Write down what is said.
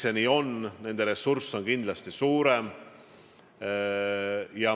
Sest nende ressurss on kindlasti suurem.